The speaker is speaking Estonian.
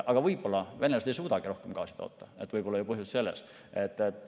Aga võib-olla venelased ei suudagi rohkem gaasi toota, võib-olla on põhjus selles.